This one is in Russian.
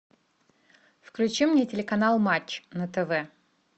включи мне телеканал матч на тв